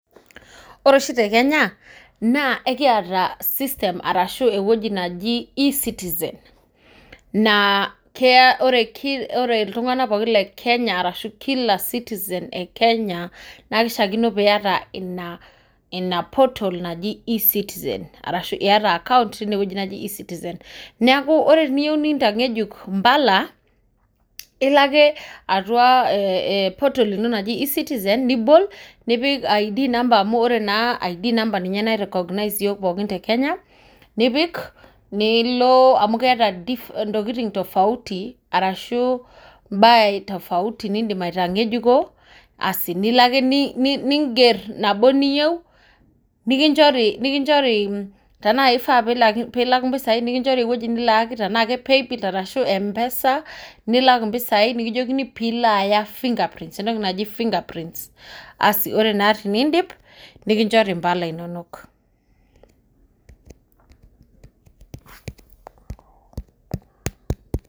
Ore oshi tekenya naa ekiata system arashu ewoji naji E-citizen naa ore iltunganak pookin le Kenya arashu kila citizen e Kenya naishaakino niata ina portal naji E-citizen, arashu iyata akaunt teiwoji naji E-citizen neeku ore teniyieu nintankeju imbala ilo ake atua portal ino naji E-citizen nibol nipik I'd number amu ore naa I'd number ninye nai recorginize iyiook pookin tekenya nipik, nilo amu keeta intokitin tofauti ashu imbaa tafauti niidim aitangejuko asi nilo ake niinger nabo niyieu tenakifaa piikinjori impisai nilo ewoji nilak tenaa ke paybill tenaa ashu mpesa nilak impisai nikijokini piilo aya finger prints entoki naji finger prints asi ore naa teniidip nikinjori imbala inonok.